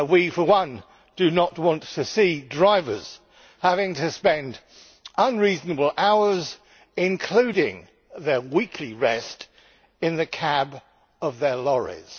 For one, we do not want to see drivers having to spend unreasonable hours, including their weekly rest, in the cabs of their lorries.